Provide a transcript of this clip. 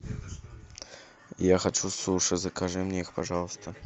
я хочу суши закажи мне их пожалуйста